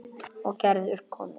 Og Gerður kemur.